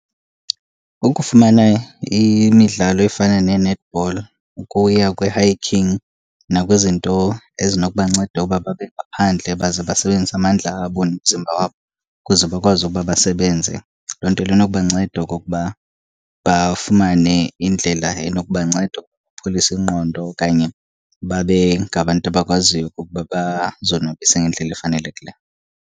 Ukufumana imidlalo efana nee-netball ukuya kwi-hiking nakwizinto ezinokubanceda uba babe ngaphandle baze basebenzise amandla abo nomzimba wabo ukuze bakwazi ukuba basebenze. Loo nto inokubanceda okokuba bafumane indlela enokubanceda ukupholisa ingqondo okanye babe ngabantu abakwaziyo okokuba bazonwabise ngendlela efanelekileyo.